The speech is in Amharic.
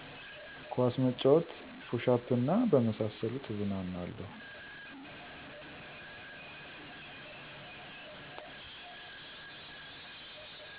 ኳስ መጫወት፣ ፑሽ አፕ እና በመሳሰሉት እዝናናለሁ።